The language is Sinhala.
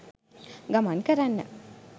ගමන් කරන්න.